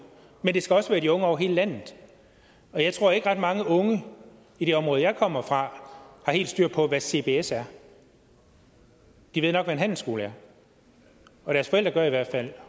men det skal også være de unge over hele landet og jeg tror ikke at ret mange unge i det område jeg kommer fra har helt styr på hvad cbs er de ved nok hvad en handelsskole er og deres forældre gør i hvert fald